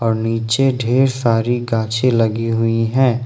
नीचे ढेर सारी गांछे लगी हुई है।